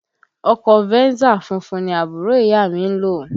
Ọkọ Venza funfun ni àbúrò ìyá à mi ń lò